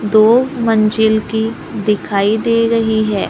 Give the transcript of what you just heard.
दो मंजिल की दिखाई दे रही है।